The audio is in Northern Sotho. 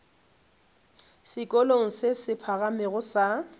sekolong se se phagamego sa